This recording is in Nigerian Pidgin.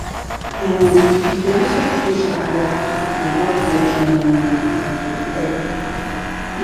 um if you lis ten to patient well without judging um dem